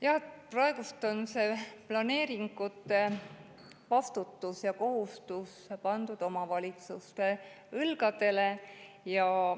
Jah, praegu on see vastutus planeeringute eest ja see kohustus pandud omavalitsuste õlgadele.